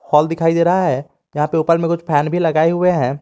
Hall दिखाई दे रहा है यहां पे ऊपर में कुछ फैन भी लगाए हुए हैं।